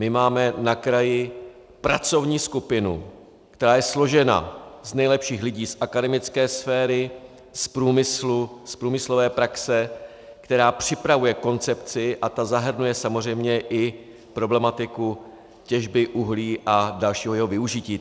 My máme na kraji pracovní skupinu, která je složena z nejlepších lidí z akademické sféry, z průmyslu, z průmyslové praxe, která připravuje koncepci, a ta zahrnuje samozřejmě i problematiku těžby uhlí a dalšího jeho využití.